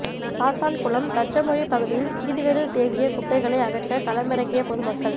சாத்தான்குளம் தச்சமொழி பகுதியில் வீதிகளில் தேங்கிய குப்பைகளை அகற்ற களமிறங்கிய பொதுமக்கள்